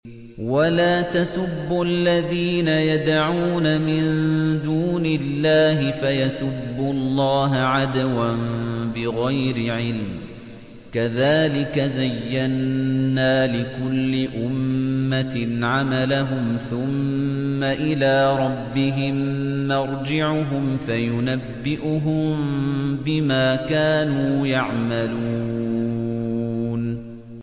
وَلَا تَسُبُّوا الَّذِينَ يَدْعُونَ مِن دُونِ اللَّهِ فَيَسُبُّوا اللَّهَ عَدْوًا بِغَيْرِ عِلْمٍ ۗ كَذَٰلِكَ زَيَّنَّا لِكُلِّ أُمَّةٍ عَمَلَهُمْ ثُمَّ إِلَىٰ رَبِّهِم مَّرْجِعُهُمْ فَيُنَبِّئُهُم بِمَا كَانُوا يَعْمَلُونَ